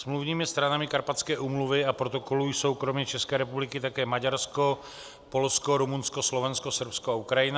Smluvními stranami Karpatské úmluvy a protokolu jsou kromě České republiky také Maďarsko, Polsko, Rumunsko, Slovensko, Srbsko a Ukrajina.